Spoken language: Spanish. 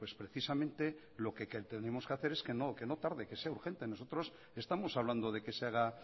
precisamente lo que tenemos que hacer es que no tarde que sea urgente nosotros estamos hablando de que se haga